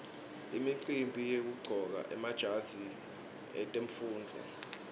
imicimbi yekuqcoka emajazi etemfundvo